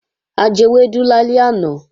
A jewẹ́dú lálẹ́ àná